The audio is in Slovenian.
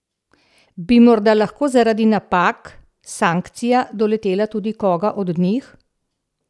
Bi morda lahko zaradi napak sankcija doletela tudi koga od njih?